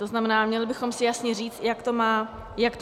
To znamená, měli bychom si jasně říct, jak to má vypadat.